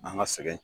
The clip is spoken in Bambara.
An ka sɛgɛn